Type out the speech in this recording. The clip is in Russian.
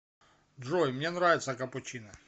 джой мне нравится капучино